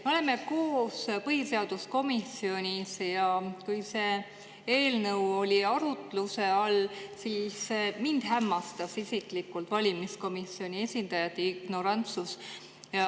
Me oleme koos põhiseaduskomisjonis ja kui see eelnõu oli arutluse all, siis mind isiklikult hämmastas valimiskomisjoni esindajate ignorantsus.